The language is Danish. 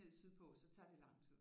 Ned sydpå så tager det lang tid